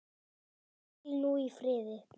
Hvíl nú í friði.